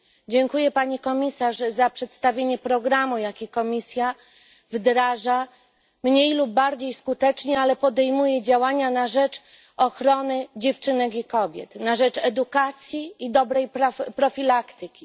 Dziękuję pani komisarz za przedstawienie programu, jaki Komisja wdraża mniej lub bardziej skutecznie, ale podejmuje działania na rzecz ochrony dziewczynek i kobiet, na rzecz edukacji i dobrej profilaktyki.